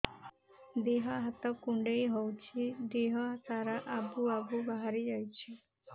ଦିହ ହାତ କୁଣ୍ଡେଇ ହଉଛି ଦିହ ସାରା ଆବୁ ଆବୁ ବାହାରି ଯାଉଛି